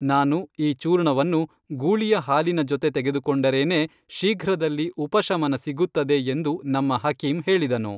ನಾನು ಈ ಚೂರ್ಣವನ್ನು ಗೂಳಿಯ ಹಾಲಿನ ಜೊತೆ ತೆಗೆದು ಕೊಂಡರೇನೇ ಶೀಘ್ರದಲ್ಲಿ ಉಪಶಮನ ಸಿಗುತ್ತದೆ ಎಂದು ನಮ್ಮ ಹಕೀಂ ಹೇಳಿದನು